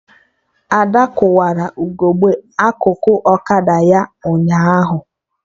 Ada kụwara ugegbe akụkụ ọkada ya ụnyaahụ